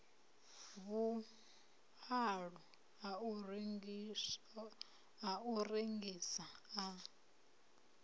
vhualo a u rengisa a